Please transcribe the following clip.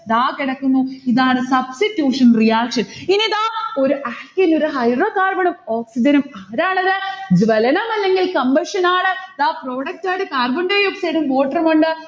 ദാ കിടക്കുന്നു, ഇതാണ് substitution reaction ഇനി ഇതാ ഒരു alkane ഉം hydrocarbon ഉം oxygen ഉം ആരാണത്? ജ്വലനം അല്ലെങ്കിൽ compression ആണ്. ദാ product ആയിട്ട് carbondioxide ഉം water ഉമുണ്ട്.